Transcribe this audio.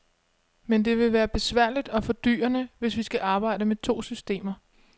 Men det vil både være besværligt og fordyrende, hvis vi skal arbejde med to systemer.